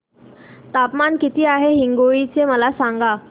तापमान किती आहे हिंगोली चे मला सांगा